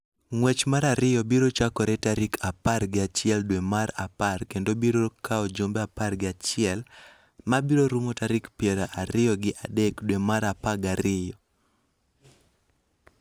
ng�wech mar ariyo biro chakore tarik apar gi achiel dwe mar apar kendo biro kawo jumbe apar gi achiel, ma biro rumo tarik piero ariyo gi adek dwe mar apar gi ariyo.